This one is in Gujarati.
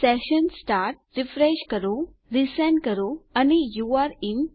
સેશન સ્ટાર્ટ રીફ્રેશ કરો રીસેન્ડ કરો અને યુરે ઇન